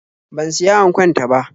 Ban siya ankon ta ba.